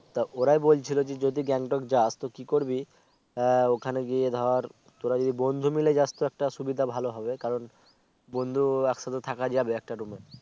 তা ওরাই বলচ্ছিলো যে যদি গেন্টোক যাস কি করবি আহ ওখানে গিয়ে ধর তোরা যদি বন্ধু মিলে যাস তো একটা সুবিধা ভালো হবে কারন বুন্ধু একসাথে থাক যাবে একটা room এ